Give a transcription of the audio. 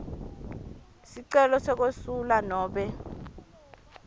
sicelo sekwesula nobe